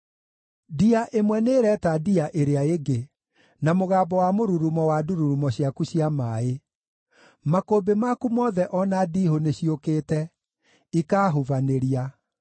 Ndia ĩmwe nĩĩreta ndia ĩrĩa ĩngĩ na mũgambo wa mũrurumo wa ndururumo ciaku cia maaĩ; makũmbĩ maku mothe o na ndiihũ nĩciũkĩte, ikaahubanĩria.